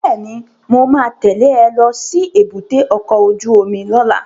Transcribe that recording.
Bẹ́ẹ̀ni, mo ma tẹ́lẹ̀ ẹ lọ sí èbúté ọkọ̀ ojú omi lọ́la